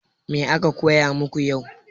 Me aka koya maku yau?